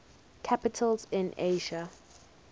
capitals in asia